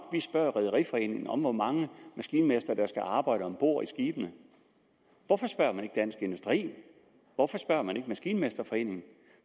at rederiforening om hvor mange maskinmestre der skal arbejde om bord på skibene hvorfor spørger man ikke dansk industri hvorfor spørger man ikke maskinmesterforeningen